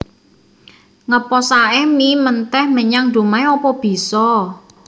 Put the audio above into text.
Ngeposake mie menteh menyang Dumai opo biso?